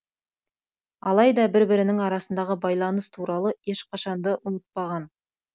алайда бір бірінің арасындағы байланыс туралы ешқашанды ұмытпаған